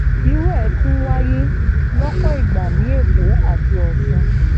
irú ẹ̀ náà tún wáyé lọ́pọ̀ ìgbà ní èkó àti ọ̀sùn